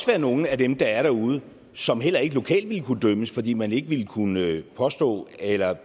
være nogle af dem der er derude som heller ikke lokalt vil kunne dømmes fordi man ikke vil kunne påstå eller